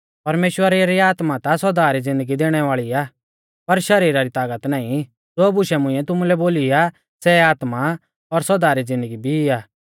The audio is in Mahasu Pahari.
परमेश्‍वरा री आत्मा ता सौदा री ज़िन्दगी देणै वाल़ी आ पर शरीरा री तागत नाईं ज़ो बूश मुंइऐ तुमुलै बोली आ सै आत्मा आ और सौदा री ज़िन्दगी भी आ